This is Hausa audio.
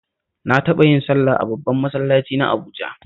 Na taɓa yin sallah a babban masallaci na Abuja